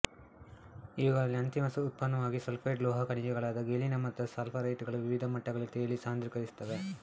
ಇವುಗಳ ಅಂತಿಮ ಉತ್ಪನ್ನವಾಗಿ ಸಲ್ಫೈಡ್ ಲೋಹ ಖನಿಜಗಳಾದ ಗೆಲಿನ ಮತ್ತು ಸ್ಫಾಲರೈಟುಗಳು ವಿವಿಧ ಮಟ್ಟಗಳಲ್ಲಿ ತೇಲಿ ಸಾಂದ್ರೀಕರಿಸುತ್ತವೆ